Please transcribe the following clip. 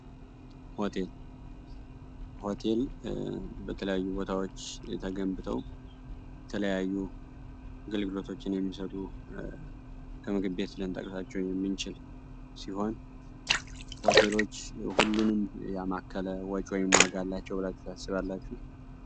ሆቴል ሆቴል በተለያዪ ቦታዎች ተገንብተው የተለያዩ አግልገሎቶችን የሚሰጡ ከምግብ ቤት ልንጠቅሳቸው የምንችል ሲሆን፤ ሆቴሎች ሁሉንም ያማከለ ወጪ ወይም ዋጋ አላቸው ብላችሁ ታስባላችሁ?